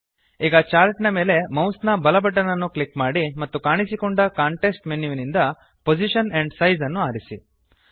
ಈಗ ಚಾರ್ಟ್ ನ ಮೇಲೆ ಮೌಸ್ ನ ಬಲ ಬಟನ್ ಅನ್ನು ಕ್ಲಿಕ್ ಮಾಡಿ ಮತ್ತು ಕಾಣಿಸಿಕೊಂಡ ಕಾಂಟೆಕ್ಸ್ಟ್ ಮೆನುವಿನಿಂದ ಪೊಸಿಷನ್ ಆಂಡ್ ಸೈಜ್ ಅನ್ನು ಆರಿಸಿ